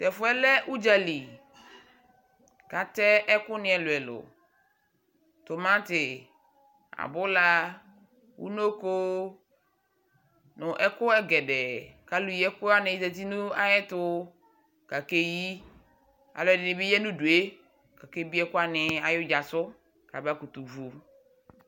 tɛƒʋɛlɛ ʋɖƶali katɛ ɛkʋni ɛlʋɛlʋ tomati abʋlaa ʋnoko nʋ ɛkʋɛgɛɖɛɛ alʋyiɛkʋ wani ƶati nʋayɛtʋ kakeyi alʋɛɖinibi ya nʋdʋe kake bie ɛkʋwanisʋ kabakʋtʋ vʋɛkʋɛ